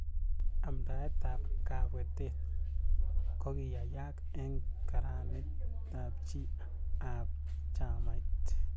Amndaet ab kabwetet kokiyayak eng karanit ab chi ab chamait